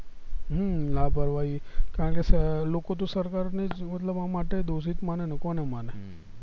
હમ લાપરવાહી કારણક કે લોકો તો સરકારનેજ મતલબ આમાં દોશીત મને તો કોને માને